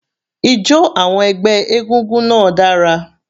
Ijo àwọn ẹgbẹ́ egúngún náà dára.